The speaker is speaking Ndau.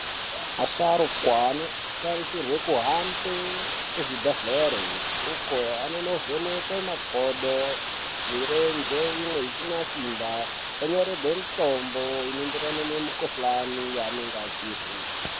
Asharukwa anotarisirwe kuhambe kuzvibhedhlere uko anonovhenekwe makodo, mirenje imwe isina simba, onyorehwe mitombo inoenderana nemikhuhlani yevanenge achihwe.